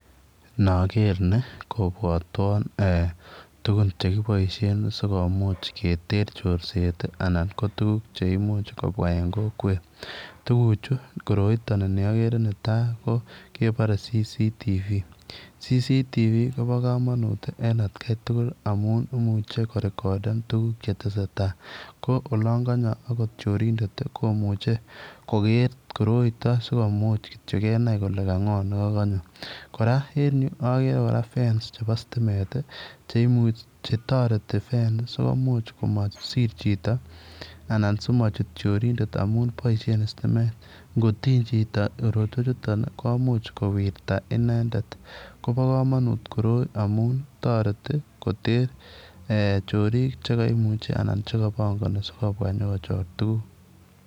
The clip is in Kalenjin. Nager ni ni kobwatwaan tuguun chekibaisheen sikomuuch siketer chorseet anan ko tuguuk cheimuuch kobwaa en kokwet koroitaan ni ager nitai kebare[CCTV] [CCTV] kobaa kamanuut en at Kai tugul amuun imuchei korekondeen tuguuk che tesei tai ko olaan kanyoo akoot chorindeet komuchei koger koroitaan sikomuuch kenai kole ka ngoo nekakanyo kora en Yuu agere fence chebo stimeet ii che taretii fence sikomuuch komaang simasiir chitoo anan simachuut chorindeet amuun boisien stimeet ngo tiiny chitoo korotwech chutoon ii komuuch kowirtaa inendet kobaa kamanuut koroi amuun taretii koteer eeh choriik chekimuchei anan chekapangani kole sikobwaa inyokojor tuguuk.